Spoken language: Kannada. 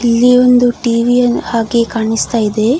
ಇಲ್ಲಿ ಒಂದು ಟಿ.ವಿ ಹಾಕಿ ಕಾಣ್ಸ್ತಇದೆ.